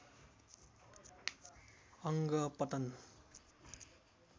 अङ्ग पतन